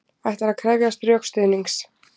Ætlar að krefjast rökstuðnings